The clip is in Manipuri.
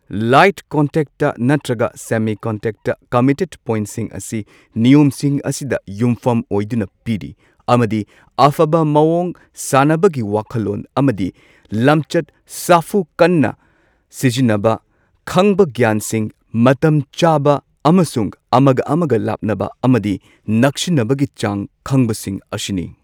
ꯂꯥꯏꯠ ꯀꯟꯇꯦꯛꯇ ꯅꯠꯇ꯭ꯔꯒ ꯁꯦꯃꯤ ꯀꯟꯇꯦꯛꯇ ꯀꯝꯃꯤꯇꯦꯗ ꯄꯣꯢꯟꯠꯁꯤꯡ ꯑꯁꯤ ꯅꯤꯌꯝꯁꯤꯡ ꯑꯁꯤꯗ ꯌꯨꯝꯐꯝ ꯑꯣꯏꯗꯨꯅ ꯄꯤꯔꯤ꯫ ꯑꯃꯗꯤ ꯑꯐꯕ ꯃꯑꯣꯡ, ꯁꯥꯟꯅꯕꯒꯤ ꯋꯥꯈꯜꯂꯣꯟ ꯑꯃꯗꯤ ꯂꯝꯆꯠ, ꯁꯥꯐꯨ ꯀꯟꯅ ꯁꯤꯖꯤꯟꯅꯕ, ꯈꯪꯕ ꯒ꯭ꯌꯥꯟꯁꯤꯡ ꯃꯇꯝ ꯆꯥꯕ ꯑꯃꯁꯨꯡ ꯑꯃꯒ ꯑꯃꯒ ꯂꯥꯞꯅꯕ ꯑꯃꯗꯤ ꯅꯛꯁꯤꯟꯅꯕꯒꯤ ꯆꯥꯡ ꯈꯪꯕ ꯁꯤꯡ ꯑꯁꯤꯅꯤ꯫